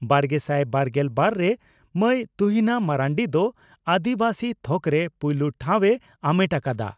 ᱵᱟᱨᱜᱮᱥᱟᱭ ᱵᱟᱨᱜᱮᱞ ᱵᱟᱨ ᱨᱮ ᱢᱟᱹᱭ ᱛᱩᱦᱤᱱᱟ ᱢᱟᱨᱱᱰᱤ ᱫᱚ ᱟᱹᱫᱤᱵᱟᱹᱥᱤ ᱛᱷᱚᱠᱨᱮ ᱯᱩᱭᱞᱩ ᱴᱷᱟᱣ ᱮ ᱟᱢᱮᱴ ᱟᱠᱟᱫᱼᱟ ᱾